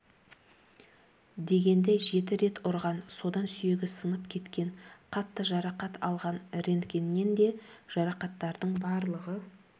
дегенде жеті рет ұрған содан сүйегі сынып кеткен қатты жарақат алған рентгеннен де жарақаттардың барлығы